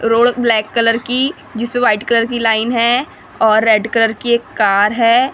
Road black colour की जिस पे वाइट कलर की लाइन है और रेड कलर की एक कार है।